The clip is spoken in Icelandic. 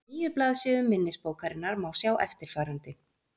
Á níu blaðsíðum minnisbókarinnar má sjá eftirfarandi: